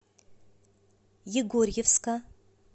егорьевска